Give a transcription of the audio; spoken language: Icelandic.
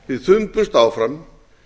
við þumbumst áfram